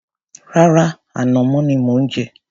Rárá, ànàmọ́ ni mò ń jẹ.